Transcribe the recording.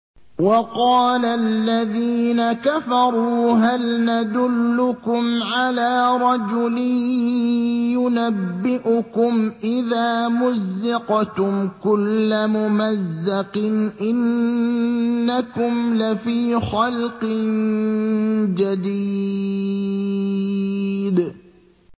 وَقَالَ الَّذِينَ كَفَرُوا هَلْ نَدُلُّكُمْ عَلَىٰ رَجُلٍ يُنَبِّئُكُمْ إِذَا مُزِّقْتُمْ كُلَّ مُمَزَّقٍ إِنَّكُمْ لَفِي خَلْقٍ جَدِيدٍ